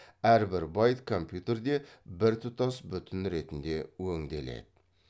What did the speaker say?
әрбір байт компьютерде біртұтас бүтін ретінде өңделеді